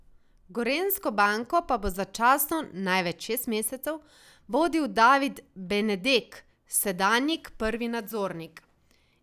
Gorenjsko banko pa bo začasno, največ šest mesecev, vodil David Benedek, sedanjik prvi nadzornik.